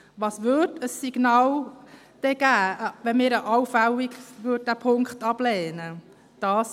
Was für ein Signal würde es geben, wenn wir diesen Punkt allenfalls ablehnen würden?